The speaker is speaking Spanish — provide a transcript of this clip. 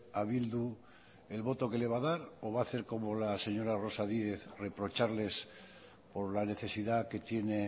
a bildu el voto que le va a dar o va hacer como la señora rosa díez reprocharles por la necesidad que tiene